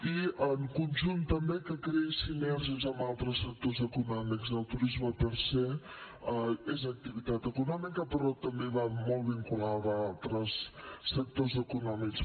i en conjunt també que creï sinergies amb altes sectors econòmics el turisme per se és activitat econòmica però també va molt vinculada a altres sectors econòmics